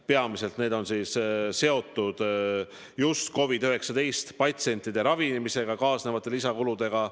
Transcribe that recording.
Peamiselt see on seotud COVID-19 patsientide ravimisega kaasnevate lisakuludega.